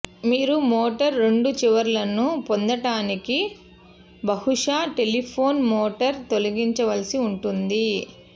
మీరు మోటార్ రెండు చివరలను పొందటానికి బహుశా టెలిఫోను మోటార్ తొలగించవలసి ఉంటుంది